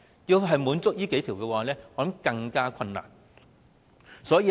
要滿足這數項條件，我認為更加困難。